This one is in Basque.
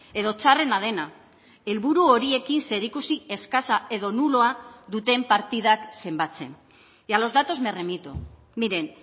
edo txarrena dena helburu horiekin zerikusi eskasa edo nuloa duten partidak zenbatzen y a los datos me remito miren